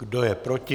Kdo je proti?